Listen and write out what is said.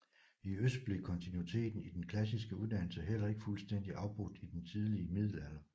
I øst blev kontinuiteten i den klassiske uddannelse heller ikke fuldstændig afbrudt i den tidlige middelalder